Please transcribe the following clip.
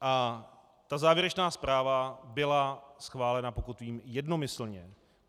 A ta závěrečná zpráva byla schválena, pokud vím, jednomyslně.